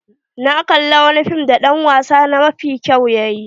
Na kalla wani fim da dan wasa na mafi kyau yayi.